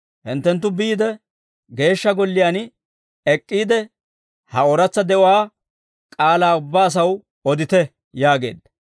«Hinttenttu biide, Geeshsha Golliyaan ek'k'iide, ha ooratsa de'uwaa k'aalaa ubbaa asaw odite» yaageedda.